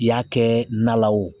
I y'a kɛ na la o